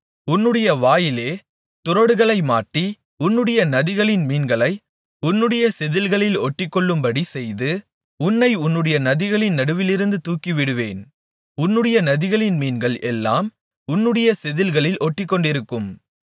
உன்னுடைய வாயிலே துறடுகளை மாட்டி உன்னுடைய நதிகளின் மீன்களை உன்னுடைய செதிள்களில் ஒட்டிக்கொள்ளும்படி செய்து உன்னை உன்னுடைய நதிகளின் நடுவிலிருந்து தூக்கிவிடுவேன் உன்னுடைய நதிகளின் மீன்கள் எல்லாம் உன்னுடைய செதில்களில் ஒட்டிக்கொண்டிருக்கும்